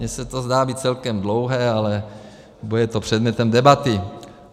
Mně se to zdá být celkem dlouhé, ale bude to předmětem debaty.